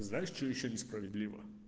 знаешь что ещё несправедливо